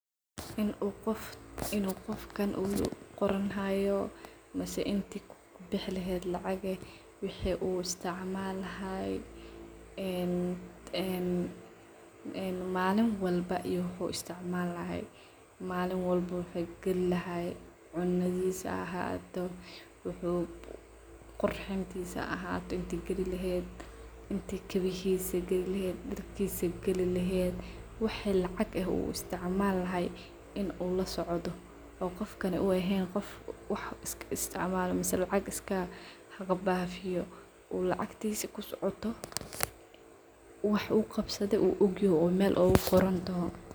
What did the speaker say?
In u qoofkan oo qoronhayo mise intii kubixi laheed lacaq wixi uu isticmalahay en maliin walba iyo wuxu isticmalayo malin walba waxi galilahaye; cunadhiisa haa ahato, wuxu qurxintiisa haa ahato intii galilaheed, intii kabihisi galileheed, darkisa galileheed waxi lacag eeh uu isticmalahay in uu lasocdo oo qoof kale u eheen qoof wax iska isticmalo misa lacaq iska kabafiyo oo lacgtisa kusocoto wax uu qabsadhe oo ogihoo oo meel ogagorontoh